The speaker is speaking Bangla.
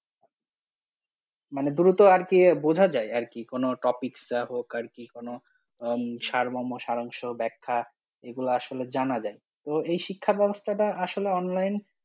মানে দ্রুত আর কি বোঝা যায় আর কি কোনো topics যা হোক আর কি কোনো আহ সারমর্ম সার অংশ একটা এগুলা আসলে জানা যায়, তো এই শিক্ষা ব্যবস্থাটা আসলে online